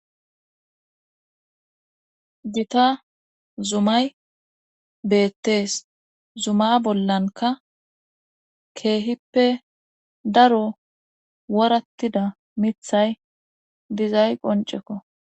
Gita zumay beettees zuma bollanka keehippe daro worattida mithay dizay qonceko.